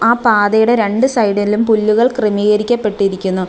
ആ പാതയുടെ രണ്ട് സൈഡിലും പുല്ലുകൾ ക്രമീകരിക്കപ്പെട്ടിരിക്കുന്നു.